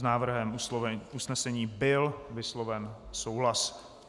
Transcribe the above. S návrhem usnesení byl vysloven souhlas.